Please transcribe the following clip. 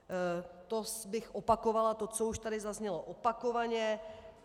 To bych opakovala to, co už tady zaznělo opakovaně.